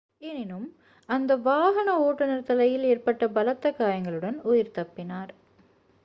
எனினும் அந்த வாகன ஓட்டுனர் தலையில் ஏற்பட்ட பலத்த காயங்களுடன் உயிர் தப்பினார்